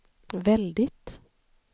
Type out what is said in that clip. väldigt